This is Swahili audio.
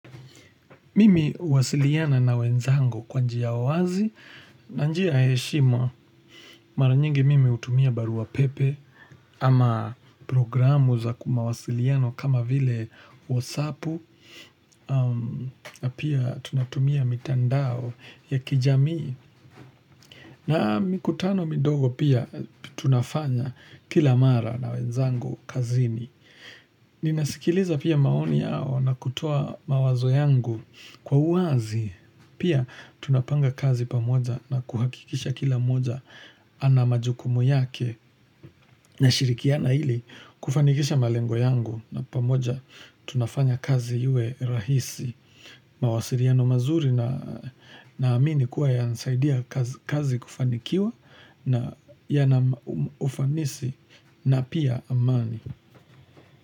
Mimi huwasiliana na wenzango kwa njia wazi na njia ya heshima mara nyingi mimi hutumia barua pepe ama programu za kimawasiliano kama vile WhatsApp na pia tunatumia mitandao ya kijamii na mikutano mindogo pia tunafanya kila mara na wenzango kazini. Ninasikiliza pia maoni yao na kutoa mawazo yangu kwa uwazi Pia tunapanga kazi pamoja na kuhakikisha kila mmoja ana majukumu yake na shirikiana ili kufanikisha malengo yangu na pamoja tunafanya kazi iwe rahisi mawasiliano mazuri na amini kuwa yanasaidia kazi kufanikiwa na yanaufanisi na pia amani.